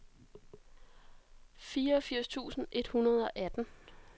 fireogfirs tusind et hundrede og atten